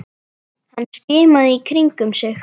Hann skimaði í kringum sig.